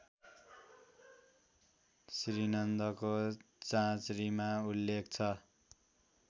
श्रीनन्दको चाँचरीमा उल्लेख छ